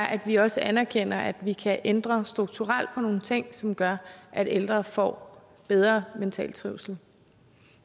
at vi også anerkender at vi kan ændre strukturelt på nogle ting som gør at ældre får bedre mental trivsel